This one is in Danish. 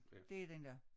Det er den da